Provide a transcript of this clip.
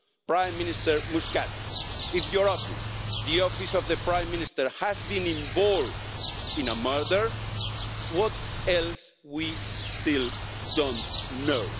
Prime Minister Muscat, if your office the office of the Prime Minister has been involved in a murder, what else do we still not know?